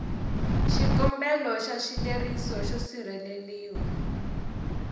xikombelo xa xileriso xo sirheleriwa